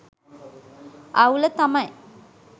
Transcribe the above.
අවුල තමයි